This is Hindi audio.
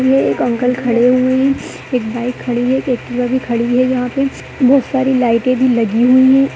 ये एक अंकल खड़े हुए हैं। एक बाइक खड़ी है। एक एक्टिवा भी खड़ी है। यहां पे बहुत सारी लाइटे भी लगी हुई है।